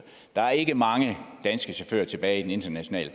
der er ikke mange danske chauffører tilbage i den internationale